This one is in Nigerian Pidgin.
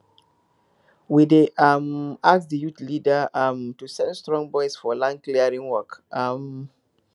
we dey um ask di youth leader um to send strong boys for land clearing work um